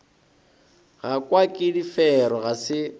gakwa ke difero ga se